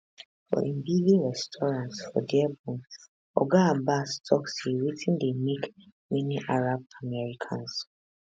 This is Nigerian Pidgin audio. for im busy restaurant for dearborn oga abbas tok say wetin dey make many arab americans